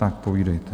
Tak povídejte.